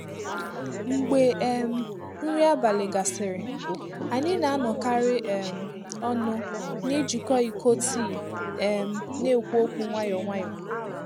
Mgbe um nri abalị gasịrị, anyị na-anọkarị um ọnụ n’ijikọ iko tii um na-ekwu okwu nwayọ nwayọ.